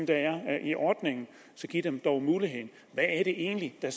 der er i ordningen så giv dem dog muligheden hvad er det egentlig der